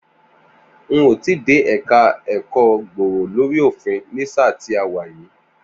N ò tíì dé ẹ̀ka ẹ̀kọ́ gbòòrò lórí òfin ni sáà ti a wà yìí